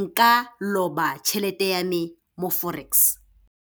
nka loba tšhelete ya me mo Forex.